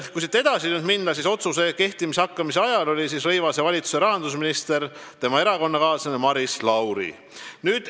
Kui siit edasi minna, siis otsuse kehtima hakkamise ajal oli Taavi Rõivase valitsuse rahandusminister peaministri erakonnakaaslane Maris Lauri.